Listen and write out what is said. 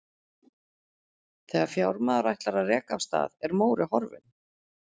Þegar fjármaður ætlar að reka af stað, er Móri horfinn.